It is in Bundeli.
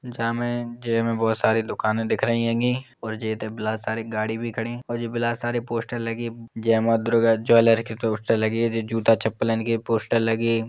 जामें जेमें बोहोत सारी दुकानें दिख रही हैंगे। जे इते बिला सारी गाड़ी भी खड़ी और जे बिला सारे पोस्टर लगे। जय मां दुर्गा ज्वेलर की पोस्टर लगे। जे जूता चप्पलन के पोस्टर लगे।